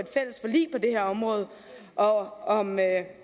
det her område og om